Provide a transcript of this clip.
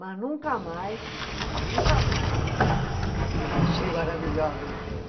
Mas nunca mais, nunca mais eu me achei maravilhosa em cena.